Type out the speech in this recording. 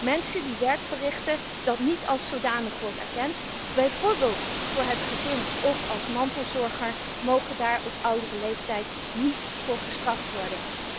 Mensen die werk verrichten dat niet als zodanig wordt erkend, bijvoorbeeld voor het gezin of als mantelzorger, mogen daar op oudere leeftijd niet voor gestraft worden.